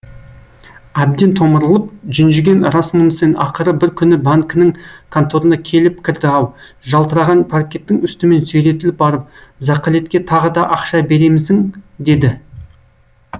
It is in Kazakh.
әбден томырылып жүнжіген расмунсен ақыры бір күні банкінің конторына келіп кірді ау жалтыраған паркеттің үстімен сүйретіліп барып зақылетке тағы да ақша беремісің деді